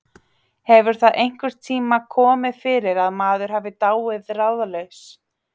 Hefur það einhvern tíma komið fyrir að maður hafi dáið ráðalaus?